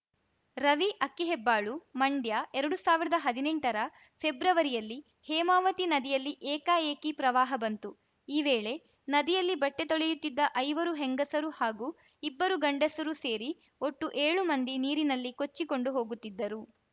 ರವಿ ಅಕ್ಕಿಹೆಬ್ಬಾಳು ಮಂಡ್ಯ ಎರಡು ಸಾವಿರದ ಹದಿನೆಂಟರ ಫೆಬ್ರವರಿಯಲ್ಲಿ ಹೇಮಾವತಿ ನದಿಯಲ್ಲಿ ಏಕಾಏಕಿ ಪ್ರವಾಹ ಬಂತು ಈ ವೇಳೆ ನದಿಯಲ್ಲಿ ಬಟ್ಟೆತೊಳೆಯುತ್ತಿದ್ದ ಐವರು ಹೆಂಗಸರು ಹಾಗೂ ಇಬ್ಬರು ಗಂಡಸರು ಸೇರಿ ಒಟ್ಟು ಏಳು ಮಂದಿ ನೀರಿನಲ್ಲಿ ಕೊಚ್ಚಿಕೊಂಡು ಹೋಗುತ್ತಿದ್ದರು